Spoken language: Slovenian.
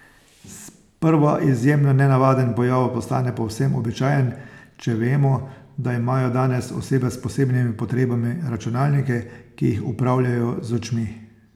Sprva izjemno nenavaden pojav postane povsem običajen, če vemo, da imajo danes osebe s posebnimi potrebami računalnike, ki jih upravljajo z očmi.